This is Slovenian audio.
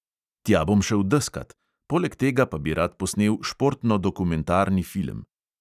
Tja bom šel deskat, poleg tega pa bi rad posnel športno-dokumentarni film.